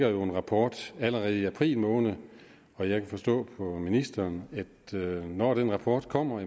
jo en rapport allerede i april måned og jeg kan forstå på ministeren at når den rapport kommer